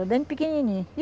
É, desde pequenininho.